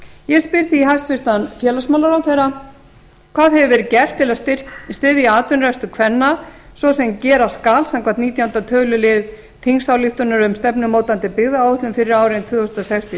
ég spyr því hæstvirtur félagsmálaráðherra fyrstu hvað hefur verið gert til að styðja atvinnurekstur kvenna svo sem gera skal samkvæmt nítjánda tölulið þingsályktunar um stefnumótandi byggðaáætlun fyrir árin tvö þúsund og sex til